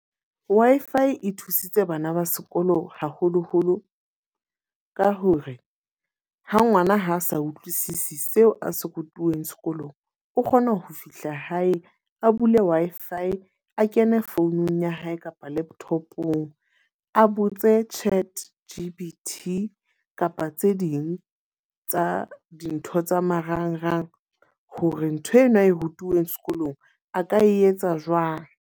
Wi-Fi e thusitse bana ba sekolo haholo-holo ka hore, ha ngwana ha a sa utlwisisi seo a se rutilweng sekolong. O kgona ho fihla hae a bule Wi-Fi, a kene for founung ya hae kapa laptop-ong. A botse Chat G_T_P kapa tse ding tsa dintho tsa marangrang hore ntho eno ae rutuweng sekolong a ka etsa jwang.